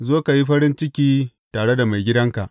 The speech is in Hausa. Zo ka yi farin ciki tare da maigidanka!’